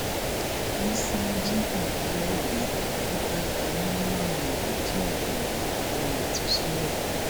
ìssa jí bàbá ẹ gbé ló bá gba mílíọnù méjì ààbọ owó ìtúsílẹ